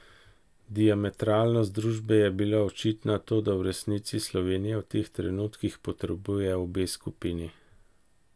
Diametralnost družbe je bila očitna, toda v resnici Slovenija v teh trenutkih potrebuje obe skupini.